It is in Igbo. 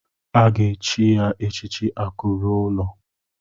A ga-echi ya echichi Akụ ruo ụlọ.